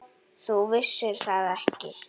Þú vissir það ekki.